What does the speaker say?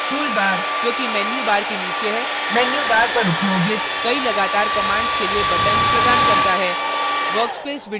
tool bar जो कि menu bar के नीचे है menu bar पर उपयोगित कई लगातार commands के लिए buttons प्रदान करता है